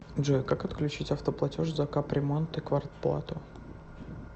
джой как отключить автоплатеж за капремонт и квартплату